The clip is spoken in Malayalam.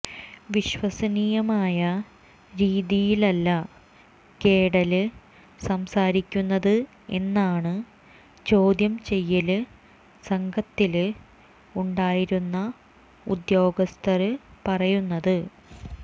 വിശ്വസനീയമായ രീതിയിലല്ല കേഡല് സംസാരിക്കുന്നത് എന്നാണ് ചോദ്യം ചെയ്യല് സംഘത്തില് ഉണ്ടായിരുന്ന ഉദ്യോഗസ്ഥര് പറയുന്നത്